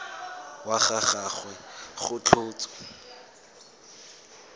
wa ga gagwe go tlhotswe